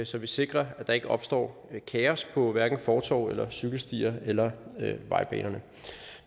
så vi sikrer at der ikke opstår kaos på hverken fortove cykelstier eller vejbaner